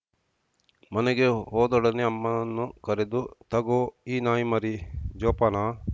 ಮನೆಗೆ ಹೋದೊಡನೆ ಅಮ್ಮನ್ನು ಕರೆದು ತಗೋ ಈ ನಾಯಿ ಮರಿ ಜೋಪಾನಾ